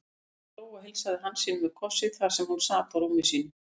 Jóhann hló og heilsaði Hansínu með kossi þar sem hún sat á rúmi sínu.